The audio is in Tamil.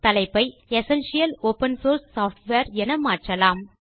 தலைப்பை எசென்ஷியல் ஒப்பன் சோர்ஸ் சாஃப்ட்வேர் என மாற்றலாம்